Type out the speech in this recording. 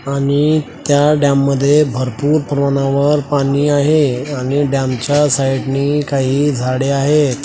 आणि त्या डॅम मध्ये भरपूर प्रमाणावर पाणी आहे आणि डॅम च्या साईड नी काही झाडे आहेत.